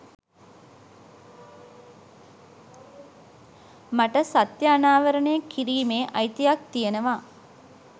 මට සත්‍ය අනාවරණය කිරීමේ අයිතියක් තියෙනවා